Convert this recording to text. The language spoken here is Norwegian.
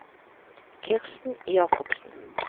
Kirsten Jakobsen